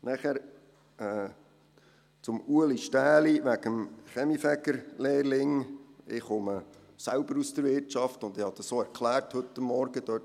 Nachher zu Ueli Stähli wegen des Kaminfegerlehrlings: Ich komme selbst aus der Wirtschaft und habe es heute Morgen auch erklärt.